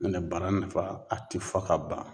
Nɔntɛ bara nafa a ti fɔ ka ban.